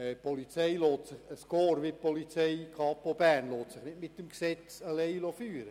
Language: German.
Ein Korps wie die Kapo Bern lässt sich nicht allein mit dem Gesetz führen.